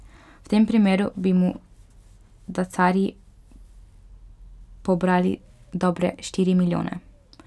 V tem primeru bi mu dacarji pobrali dobre štiri milijone.